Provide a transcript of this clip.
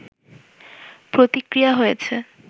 প্রতিক্রিয়া হয়েছে